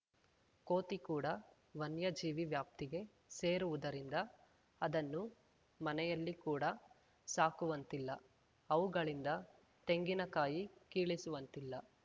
ಕೋತಿ ಕೂಡ ವನ್ಯಜೀವಿ ವ್ಯಾಪ್ತಿಗೆ ಸೇರುವುದರಿಂದ ಅದನ್ನು ಮನೆಯಲ್ಲಿ ಕೂಡ ಸಾಕುವಂತಿಲ್ಲ ಅವುಗಳಿಂದ ತೆಂಗಿನಕಾಯಿ ಕೀಳಿಸುವಂತಿಲ್ಲ